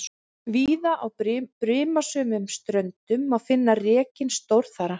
Víða á brimasömum ströndum má finna rekinn stórþara.